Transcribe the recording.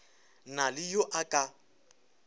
na le yo a ka